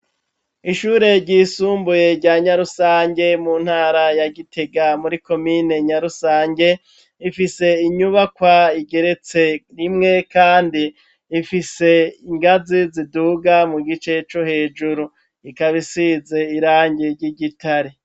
Ishure ryisumbuye rya Nyarusange mu ntara ya Gitega muri komine Nyarusange, ifise inyubakwa igeretse rimwe kandi ifise ingazi ziduga mu gice co hejuru, ikaba isize irangi ry'igitare.